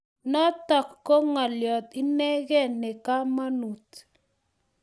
notok ko ngalyot inegei ne kamanut